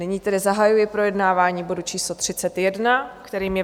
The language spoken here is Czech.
Nyní tedy zahajuji projednávání bodu číslo 31, kterým je